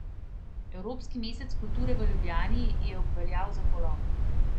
Evropski mesec kulture v Ljubljani je obveljal za polom.